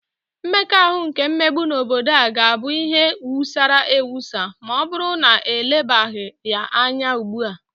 Mmekọahụ nke mmegbu n'obodo a ga-abụ ihe wusara ewusa ma ọbụrụ na elebaghị ya anya ugbua